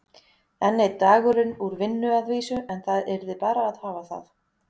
Enn einn dagurinn úr vinnu að vísu, en það yrði bara að hafa það.